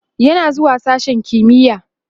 yana zuwa sashen kimiya